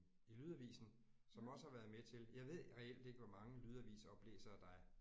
I lydavisen som også har været med til jeg ved reelt ikke hvor mange lydavisoplæsere der er